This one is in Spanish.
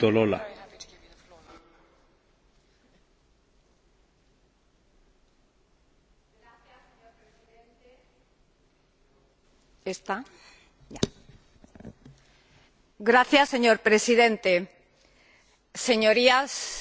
Señor Presidente, Señorías, señor Ministro, señora Comisaria, no voy a referirme a la cuestión de la competencia, puesto que en las intervenciones de mis antecesores ha quedado claro que, a partir de la entrada en vigor